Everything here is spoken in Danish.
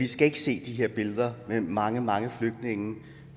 skal se de her billeder med mange mange flygtninge